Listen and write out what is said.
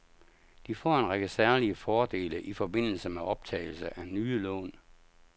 De får en række særlige fordele i forbindelse med optagelse af nye lån.